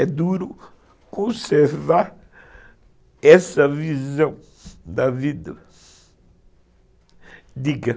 É duro conservar essa visão da vida.